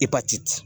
Ipatiti